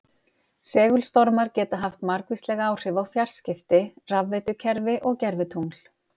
Segulstormar geta haft margvísleg áhrif á fjarskipti, rafveitukerfi og gervitungl.